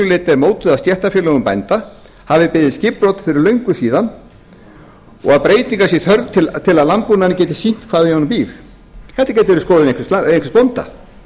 er mótuð af stéttarfélögum bænda hafi beðið skipbrot fyrir löngu síðan og breytinga sé þörf til að landbúnaðurinn geti sýnt hvað í honum býr þetta gæti verið skoðun einhvers bónda